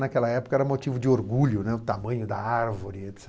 Naquela época era motivo de orgulho, o tamanho da árvore, et cetera.